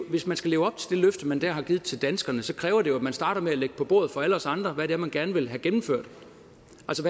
hvis man skal leve op til det løfte man der har givet til danskerne så kræver det jo at man starter med at lægge på bordet for alle os andre hvad det er man gerne vil have gennemført